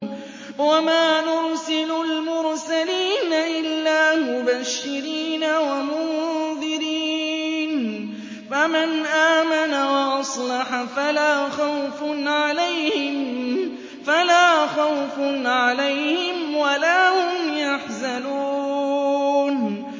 وَمَا نُرْسِلُ الْمُرْسَلِينَ إِلَّا مُبَشِّرِينَ وَمُنذِرِينَ ۖ فَمَنْ آمَنَ وَأَصْلَحَ فَلَا خَوْفٌ عَلَيْهِمْ وَلَا هُمْ يَحْزَنُونَ